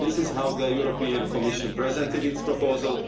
This is how the European Commission presented its proposal.